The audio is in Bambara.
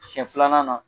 Siɲɛ filanan na